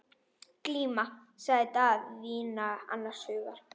Glíma, sagði Daðína annars hugar.